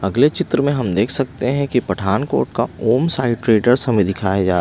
अगले चित्र में हम देख सकते हैं कि पठानकोट का ओम साइड्रेटर्स हमें दिखाया जाता है।